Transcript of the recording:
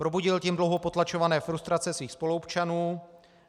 Probudil tím dlouho potlačované frustrace svých spoluobčanů.